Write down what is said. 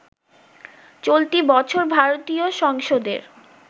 চলতি বছর ভারতীয় সংসদের